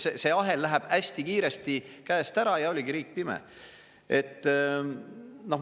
See ahel läheb hästi kiiresti käest ära ja oligi riik pime.